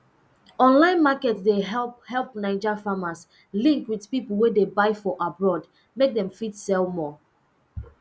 online market dey help help naija farmers link with people wey dey buy for abroad mek dem fit sell more